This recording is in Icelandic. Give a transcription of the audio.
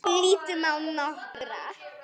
Lítum á nokkra.